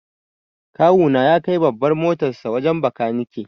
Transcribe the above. Kawu na ya kai babbar motarsa wajen bakanike.